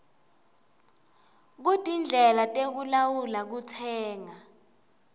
kutindlela tekulawula kutsenga